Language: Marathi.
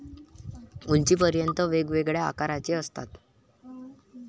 उंचीपर्यंत, वेगवेगळ्या आकारांचे असतात.